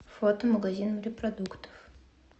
фото магазин морепродуктов